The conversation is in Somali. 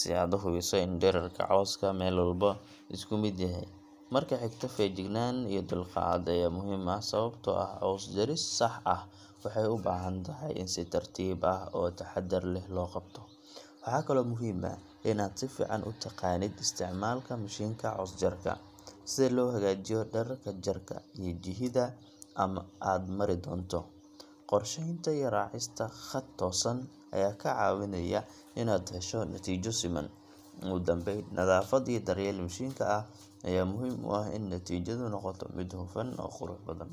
si aad u hubiso in dhererka cawska meel walba isku mid yahay. Marka xigta, feejignaan iyo dulqaad ayaa muhiim ah, sababtoo ah caws jaris sax ah waxay u baahan tahay in si tartiib ah oo taxaddar leh loo qabto. Waxaa kaloo muhiim ah in aad si fiican u taqaanid isticmaalka mishiinka caws jarka sida loo hagaajiyo dhererka jarka iyo jihada aad mari doonto. Qorsheynta iyo raacista khad toosan ayaa kaa caawinaya inaad hesho natiijo siman. Ugu dambayn, nadaafad iyo daryeel mishiinka ah ayaa muhiim u ah in natiijadu noqoto mid hufan oo qurux badan.